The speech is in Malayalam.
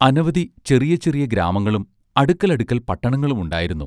അനവധി ചെറിയ ചെറിയഗ്രാമങ്ങളും അടുക്കലടുക്കൽ പട്ടണങ്ങളും ഉണ്ടായിരുന്നു.